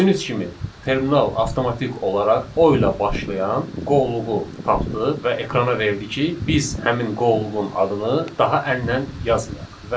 Gördüyünüz kimi terminal avtomatik olaraq O ilə başlayan qovluğu tapdı və ekrana verdi ki, biz həmin qovluğun adını daha əllə yazmayaq.